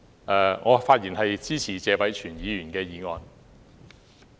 代理主席，我發言支持謝偉銓議員的原議案。